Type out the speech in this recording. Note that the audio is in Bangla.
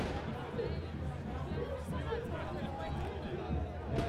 দারুণ! তাহলে তো প্রচুর কর্মসংস্থানের সুযোগ আছে।